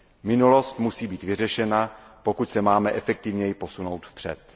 Minulost musí být vyřešena, pokud se máme efektivněji posunout vpřed.